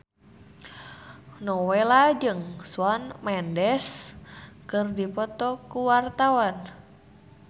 Nowela jeung Shawn Mendes keur dipoto ku wartawan